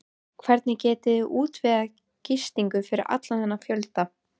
Hvernig getiði útvegað gistingu fyrir allan þennan fjölda?